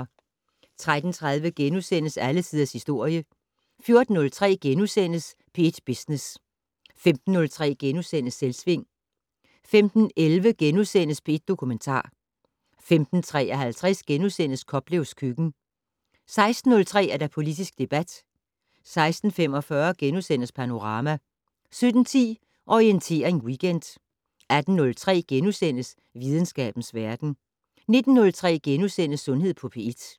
13:30: Alle tiders historie * 14:03: P1 Business * 15:03: Selvsving * 15:11: P1 Dokumentar * 15:53: Koplevs køkken * 16:03: Politisk debat 16:45: Panorama * 17:10: Orientering Weekend 18:03: Videnskabens verden * 19:03: Sundhed på P1 *